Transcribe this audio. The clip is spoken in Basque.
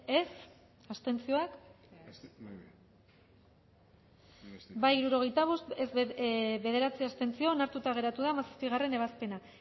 dezakegu bozketaren emaitza onako izan da hirurogeita hamalau eman dugu bozka hirurogeita bost boto aldekoa bederatzi abstentzio onartuta geratu da hamazazpigarrena ebazpena